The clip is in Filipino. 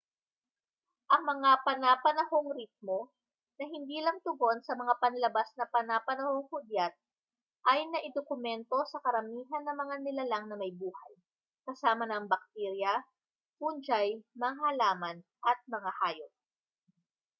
ang mga pana-panahong ritmo na hindi lang tugon sa mga panlabas na pana-panohong hudyat ay naidokumento sa karamihan ng mga nilalang na may buhay kasama na ang baktirya fungi mga halaman at mga hayop